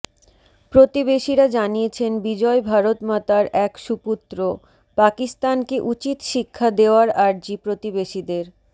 প্রতিবেশীরা জানিয়েছেন বিজয় ভারতমাতার এক সুপুত্র পাকিস্তানকে উচিৎ শিক্ষা দেওয়ার আর্জি প্রতিবেশীদের